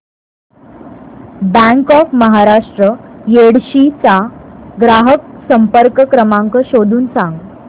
bank of Maharashtra Yedshi चा ग्राहक संपर्क क्रमांक शोधून सांग